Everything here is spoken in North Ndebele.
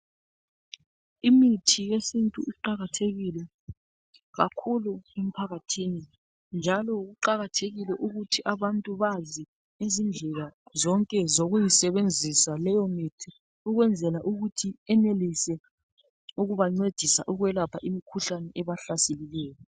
Imithi yesiNtu iqakathekile kakhulu emphakathini njalo abantu kumele bazi izindlela zonke zokuyisebenzisa leyomithi ukwenzela ukuthi yenelise ukubancedisa ukwelapha imikhuhlane ebahlaseleyo.